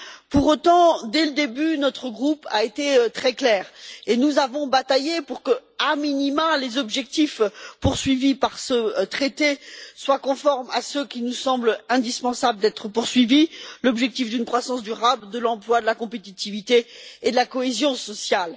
Pour autant, dès le début, notre groupe a été très clair, et nous avons bataillé pour que, a minima, les objectifs poursuivis par ce traité soient conformes à ceux qu'il nous semble indispensable de poursuivre, à savoir l'objectif d'une croissance durable de l'emploi, de la compétitivité et de la cohésion sociale.